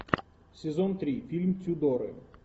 сезон три фильм тюдоры